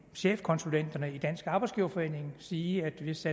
chefkonsulenterne i dansk arbejdsgiverforening sige at hvis